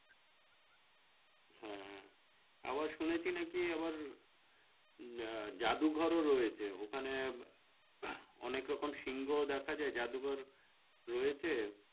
আবার শুনেছি নাকি আবার জাদু ঘর ও রয়েছে ওখানে অনেক রকম সিংহ দেখা যায় জাদু ঘর রয়েছে